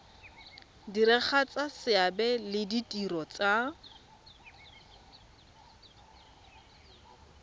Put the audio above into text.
diragatsa seabe le ditiro tsa